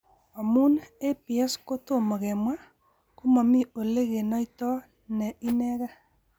Amu APS ko tomo kemwa ,ko momii ole kenoito ne inegee.